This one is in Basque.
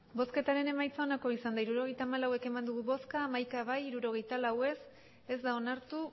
hirurogeita hamalau eman dugu bozka hamaika bai hirurogeita lau ez ez da onartu